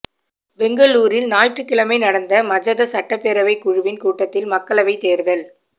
பெங்களூரில் ஞாயிற்றுக்கிழமை நடந்த மஜத சட்டப்பேரவைக் குழுவின் கூட்டத்தில் மக்களவைத் தேர்தல்